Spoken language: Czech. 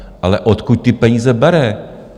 Ale odkud ty peníze bere?